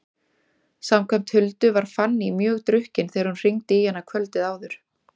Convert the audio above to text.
Samkvæmt Huldu var Fanný mjög drukkin þegar hún hringdi í hana kvöldið áður.